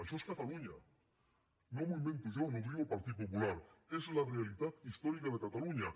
això és catalunya no m’ho invento jo no ho diu el partit popular és la realitat històrica de catalunya